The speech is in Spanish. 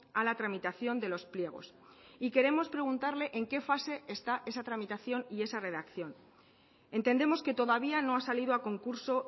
a la tramitación de los pliegos y queremos preguntarle en qué fase está esa tramitación y esa redacción entendemos que todavía no ha salido a concurso